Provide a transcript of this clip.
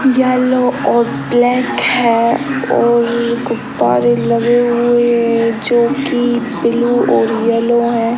Yellow और black है और गुब्बारे लगे हुए हैं जो की ब्लू और येलो है।